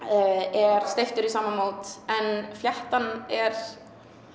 er steyptur í sama mót en fléttan er